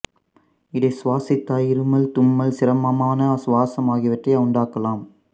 இதைச் சுவாசித்தல் இருமல் தும்மல் சிரமமான சுவாசம் ஆகியவற்றை உண்டாக்கலாம்